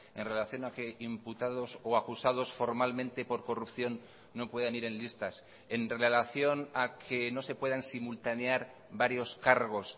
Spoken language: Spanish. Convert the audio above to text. en relación a que imputados o acusados formalmente por corrupción no puedan ir en listas en relación a que no se puedan simultanear varios cargos